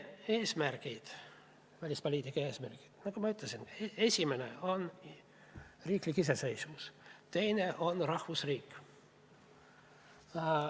Meie välispoliitika eesmärgid, nagu ma ütlesin, on: esimene on riiklik iseseisvus, teine on rahvusriik.